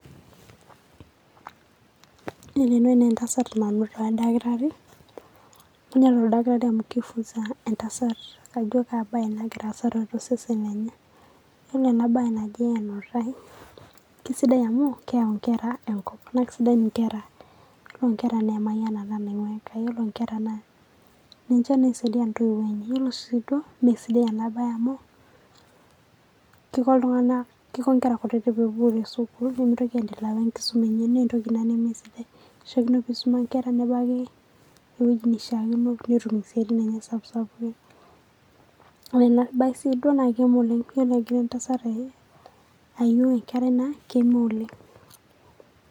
Yielo ene wueji naa entasat nanuta Daktari Neeta oldakitari amu keifunsa ajo kaa bae nagira aasa tiatua osesen lenye, Yiolo ena bae naji enutai kesidai amu keyau enkera Enkop naa kesidan enkera. Yiolo Nkera naa Emayianata naing'uaa Enkai, Yiolo Nkera naa ninche naisaidia Entoiwuo enye, Yiolo sii duo mme sidai ena baye amu Kiko iltung'anak, Keiko Nkera kutitik metupuku Tesukuul nemitoki aisuma naa entoki Ina nemesidai. Keishiakino Enkera nebaiki ewueji neishaakino pee etum Esiatin Enye sapuki sapukin. Ore ena bae sii duo naa kegol oleng' tenegira entasat aiu Enkerai naa Keme oleng'.